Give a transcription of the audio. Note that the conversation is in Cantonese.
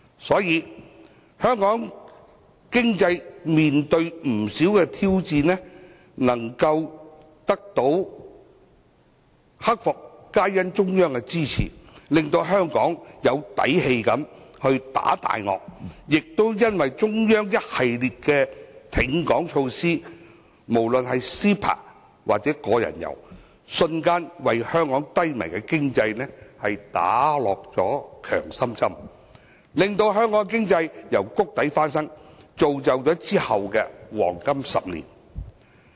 所以，香港在經濟面對挑戰時能夠一一克服，因為中央的支持，令香港能夠有底氣地打大鱷，也因為中央的一系列挺港措施，包括 CEPA 及個人遊，瞬間為香港低迷的經濟打下強心針，令香港經濟從谷底翻身，並造就其後的黃金10年。